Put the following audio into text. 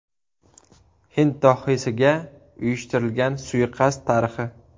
Hind dohiysiga uyushtirilgan suiqasd tarixi.